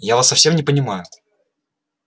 я вас не совсем понимаю